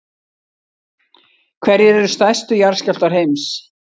hverjir eru stærstu jarðskjálftar heims